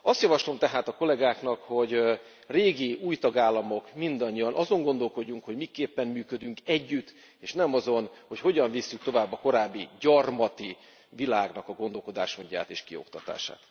Azt javaslom tehát a kollégáknak, hogy régi, új tagállamok, mindannyian azon gondolkodjunk, hogy miképpen működjünk együtt, és ne azon, hogy hogyan vigyük tovább a korábbi gyarmati világ gondolkodásmódját és kioktatását.